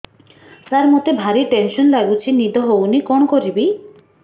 ସାର ମତେ ଭାରି ଟେନ୍ସନ୍ ଲାଗୁଚି ନିଦ ହଉନି କଣ କରିବି